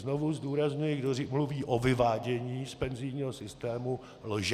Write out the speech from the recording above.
Znovu zdůrazňuji: kdo mluví o vyvádění z penzijního systému, lže!